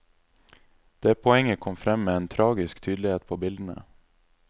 Det poenget kom frem med tragisk tydelighet på bildene.